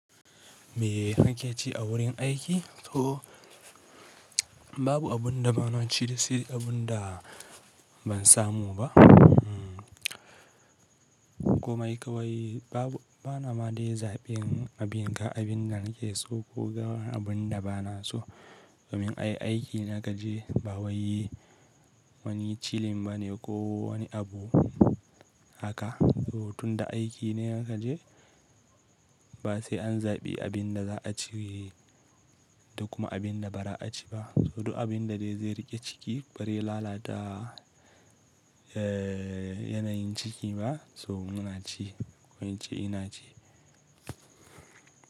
Me nake ci a wurin aiki? To babu abin da ba na ci da shi abun da ban samu ba. Hmmm kuma kai wai babu bana ma dai zaɓin abin ga abin da nake so ko ga abin da bana so. Domin ai aiki naga je ba wai wani chilling bane ko wani abu haka. So tunda aiki ne aka je ba sai an zaɓi abin da za a ci da kuma abin da ba za a ci ba. So duk abin da dai zai riƙe ciki bari ya lalata eh yanayin ciki ba so n'na ci ko in ce ina ci.